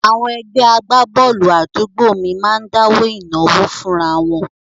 Àwọn ẹgbẹ́ agbábọ́ọ̀lù àdúgbò mi máa ń dáwó ìnáwó fúnra wọn